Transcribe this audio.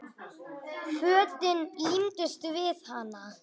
Fötin límdust við hana.